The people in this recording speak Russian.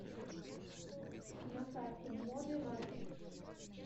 на карте моби маркет